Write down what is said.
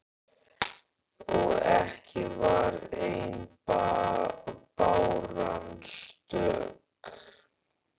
Og ekki var ein báran stök.